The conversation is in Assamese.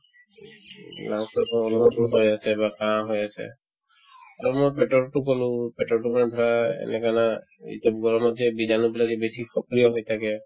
উম, lung ৰ পৰা মূৰতো গৈ আছে বা কাঁহ হৈ আছে আৰু মোৰ পেটৰতো ক'লো পেটৰতো মানে ধৰা এনেকে না এতিয়া গৰমতহে বীজাণুবিলাকে বেছি সক্ৰিয় হৈ থাকে